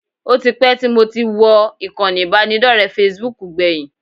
Ó ti pẹ́ tí mo ti wọ ìkànnì ìbánidọ́rẹ̀ẹ́ Facebook gbẹ̀yìn